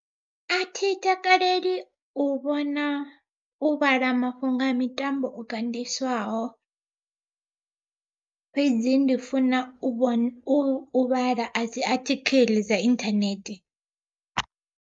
A thi takaleli u vhona u vhala mafhungo a mitambo o ganḓiswaho, fhedzi ndi funa u vhona u vhala dzi athikiḽi dza inthanethe.